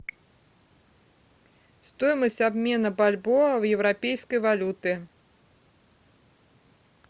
стоимость обмена бальбоа в европейской валюты